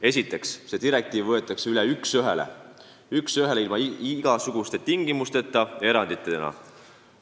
Esiteks, see direktiiv võetakse üle üks ühele, ilma igasuguste tingimusteta ja eranditeta.